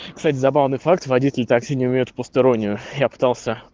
кстати забавный факт водитель такси не умеют постиронию я пытался